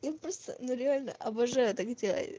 я просто ну реально обожаю так делать